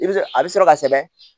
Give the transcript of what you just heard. I bɛ a bɛ sɔrɔ ka sɛbɛn